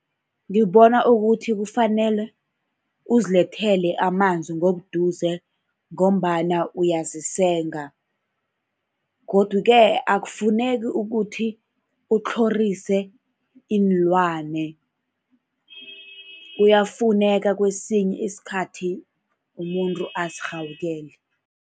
Ngibona ukuthi kufanele uzilethele amanzi ngobuduze ngombana uyazisenga. Godu-ke akufuneki ukuthi ukutlhorise iinlwana, kuyafuneka kwesinye isikhathi umuntu azirhawukele.